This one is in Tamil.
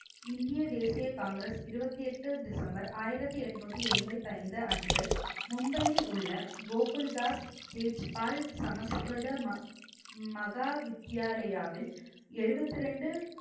இந்திய தேசிய காங்கிரஸ் இருபத்தி எட்டு டிசம்பர் ஆயிரத்தி எட்நூத்தி எண்பத்தி ஐந்து அன்று மும்பையில் உள்ள கோகுல்தாஸ் தேஜ் பால் சமஸ்கிருத ம~ மகா வித்யாலயாவில் எழுபத்தி ரெண்டு